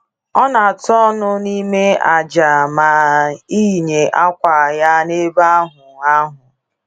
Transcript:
Ọ na-atụ ọnụ n’ime ájá ma yinye akwa ya n’ebe ahụ. ahụ.